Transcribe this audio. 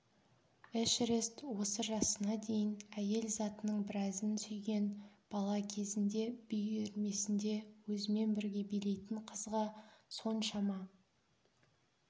эшерест осы жасына дейін әйел затының біразын сүйген бала кезінде би үйірмесінде өзімен бірге билейтін қызға соншама